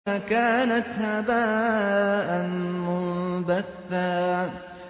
فَكَانَتْ هَبَاءً مُّنبَثًّا